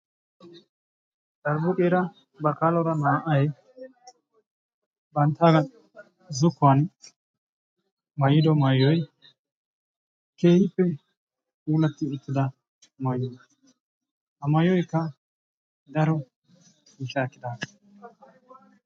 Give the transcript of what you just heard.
Bakaalora baalotiira naa"ay banttaagaa zokkuwaan maayido maayoy keehippe puulatti uttida maayo. ha maayoykka daro miishshaa ekkidaagaa.